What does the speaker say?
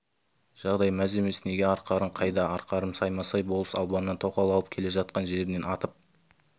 жағдай мәз емес неге арқарың қайда арқарым саймасай болыс албаннан тоқал алып келе жатқан жерінен атып